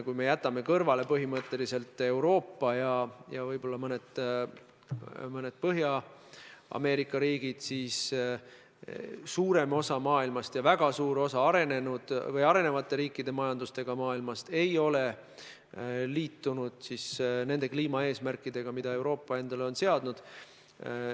Kui me jätame põhimõtteliselt kõrvale Euroopa ja võib-olla mõned Põhja-Ameerika riigid, siis suurem osa maailmast ja väga suur osa arenevate majandustega riikidest ei ole liitunud kliimaeesmärkidega, mis Euroopa endale on seadnud.